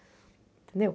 Entendeu?